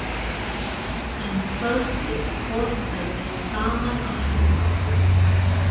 Um kvöldið horfðum við saman á sjónvarpið.